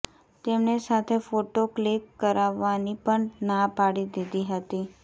તેમણે સાથે photo click કરાવવાની પણ ના પાડી દીધી હતી